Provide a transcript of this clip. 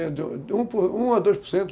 um a dois por cento